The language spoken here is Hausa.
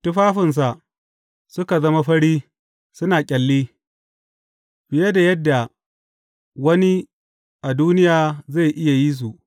Tufafinsa suka zama fari suna ƙyalli, fiye da yadda wani a duniya zai iya yi su.